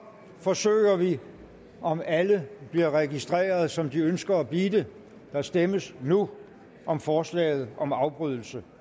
forsøger vi om alle bliver registreret som de ønsker at blive det der stemmes nu om forslaget om afbrydelse